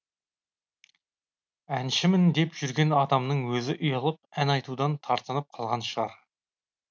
әншімін деп жүрген адамның өзі ұялып ән айтудан тартынып қалған шығар